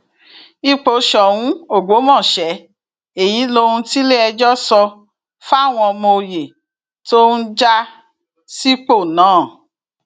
ipò sóun ọgbọmọṣẹ èyí lohun tiléẹjọ sọ fáwọn ọmọ òye tó ń já sípò náà